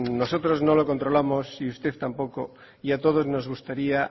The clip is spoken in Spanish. nosotros no lo controlamos y usted tampoco y a todos nos gustaría